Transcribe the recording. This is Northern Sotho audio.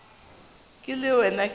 ke le wena ke be